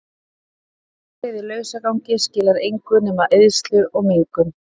Bifreið í lausagangi skilar engu nema eyðslu og mengun.